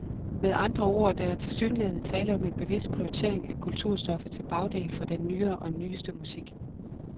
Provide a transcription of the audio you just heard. Med andre ord, der er tilsyneladende tale om en bevidst prioritering af kulturstoffet til bagdel for den nyere og nyeste musik.